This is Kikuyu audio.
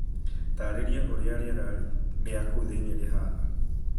Taarĩria ũrĩa rĩera rĩa kũu thiini rĩhaana.